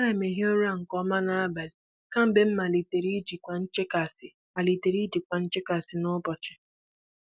Ana m ehi ụra nke ọma n'abalị kemgbe m malitere ijikwa nchekasị malitere ijikwa nchekasị n'ụbọchị.